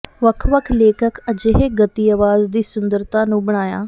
ਵੱਖ ਵੱਖ ਲੇਖਕ ਅਜਿਹੇ ਗਤੀ ਆਵਾਜ਼ ਦੀ ਸੁੰਦਰਤਾ ਨੂੰ ਬਣਾਇਆ